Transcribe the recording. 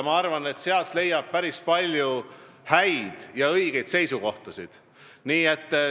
Ma arvan, et sealt leiab päris palju häid ja õigeid seisukohtasid.